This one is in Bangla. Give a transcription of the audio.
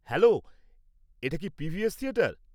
হ্যালো, এটা কি পিভিএস থিয়েটার?